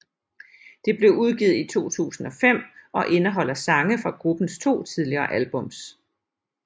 Det blev udgivet i 2005 og indeholder sange fra gruppens to tidligere albums